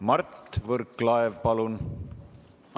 Mart Võrklaev, palun!